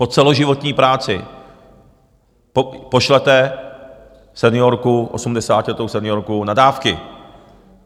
Po celoživotní práci pošlete seniorku, osmdesátiletou seniorku, na dávky.